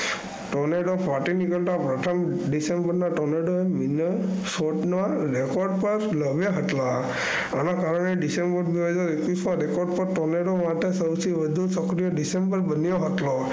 Tornedo ફાટી નીકળતા